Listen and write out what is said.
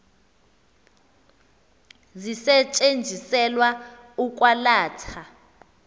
zisetyenziselwa ukwa latha